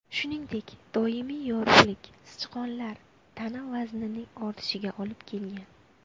Shuningdek, doimiy yorug‘lik sichqonlar tana vaznining ortishiga olib kelgan.